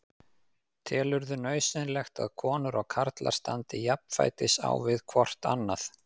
Telurðu nauðsynlegt að konur og karlmenn standi jafnfætis á við hvort annað?